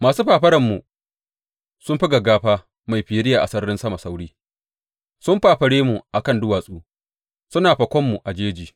Masu fafarar mu sun fi gaggafa mai firiya a sararin sama sauri; sun fafare mu a kan duwatsu suna fakon mu a jeji.